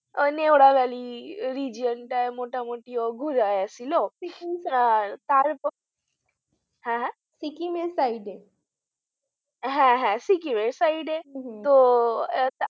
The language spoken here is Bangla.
নেওয়া valley region টায় ঘুরায় নিয়ে এসেছিল আর তারপর আহ আহ Sikkim এর side এ হ্যাঁ হ্যাঁ Sikkim এর side এ তো